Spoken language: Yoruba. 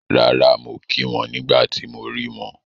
Rárà, mo kí wọn nígbà tí mo rí wọn